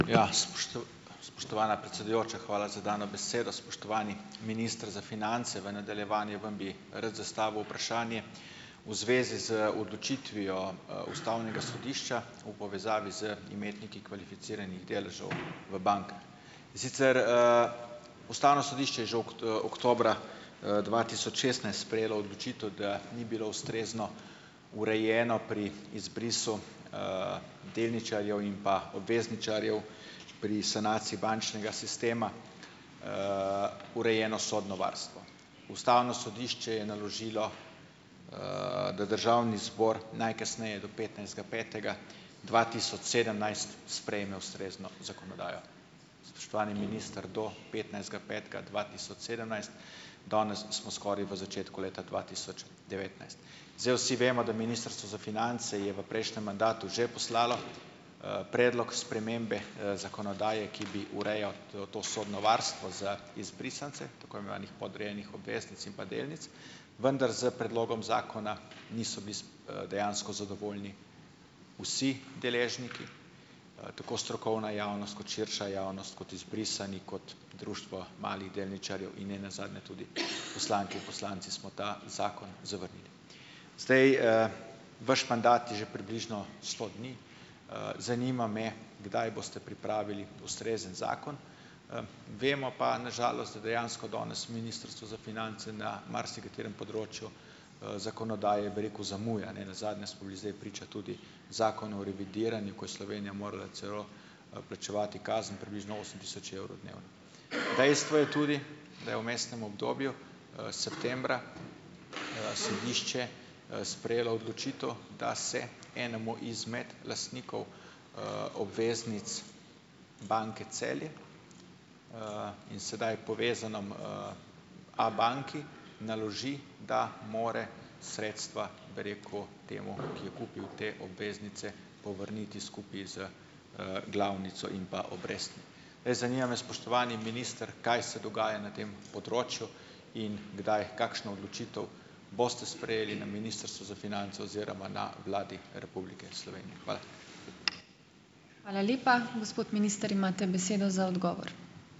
Ja, ... Spoštovana predsedujoča, hvala za dano besedo. Spoštovani minister za finance. V nadaljevanju vam bi rad zastavil vprašanje v zvezi z odločitvijo, ustavnega sodišča v povezavi z imetniki kvalificiranih deležev v bankah. In sicer, ustavno sodišče je že oktobra, dva tisoč šestnajst sprejelo odločitev, da ni bilo ustrezno urejeno pri izbrisu delničarjev in pa obvezničarjev pri sanaciji bančnega sistema urejeno sodno varstvo. Ustavno sodišče je naložilo, da državni zbor najkasneje do petnajstega petega dva tisoč sedemnajst sprejme ustrezno zakonodajo. Spoštovani minister, do petnajstega petega dva tisoč sedemnajst, danes smo skoraj v začetku leta dva tisoč devetnajst. Zdaj vsi vemo, da Ministrstvo za finance je v prejšnjem mandatu že poslalo, predlog spremembe, zakonodaje, ki bi urejal to to sodno varstvo za izbrisance tako imenovanih podrejenih obveznic in pa delnic, vendar s predlogom zakona niso bili dejansko zadovoljni vsi deležniki, tako strokovna javnost kot širša javnost, kot izbrisani, kot Društvo malih delničarjev in ne nazadnje tudi poslanke in poslanci smo ta zakon zavrnili. Zdaj, vaš mandat je že približno sto dni. Zanima me, kdaj boste pripravili ustrezen zakon? Vemo pa na žalost, da dejansko danes Ministrstvo za finance na marsikaterem področju, zakonodaje, bi rekel, zamuja. Ne nazadnje smo bili zdaj priča tudi Zakonu o revidiranju, ko je Slovenija morala celo, plačevati kazen približno osem tisoč evrov dnevno. Dejstvo je tudi, da je v vmesnem obdobju, septembra, sodišče, sprejelo odločitev, da se enemu izmed lastnikov, obveznic Banke Celje in sedaj povezanem, Abanki naloži, da more sredstva, bi rekel, temu, ki je kupil te obveznice, povrniti skupaj z, glavnico in pa obrestmi. Zdaj, zanima me, spoštovani minister, kaj se dogaja na tem področju in kdaj, kakšno odločitev boste sprejeli na Ministrstvu za finance oziroma na Vladi Republike Slovenije. Hvala.